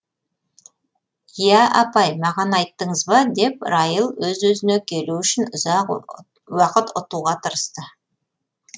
иә апай маған айттыңыз ба деп райл өз өзіне келу үшін ұзақ уақыт ұтуға тырысты